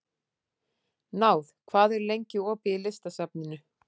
Náð, hvað er lengi opið í Listasafninu?